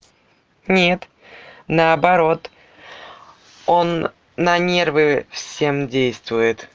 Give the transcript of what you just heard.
нет наоборот он на нервы всем действуй